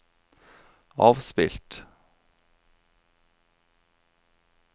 avspilt